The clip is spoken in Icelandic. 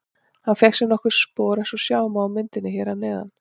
Hann fékk nokkur spor eins og sjá má á myndinni hér að neðan.